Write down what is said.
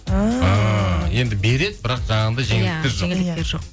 енді береді бірақ жаңағыдай